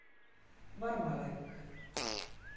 Varmalæk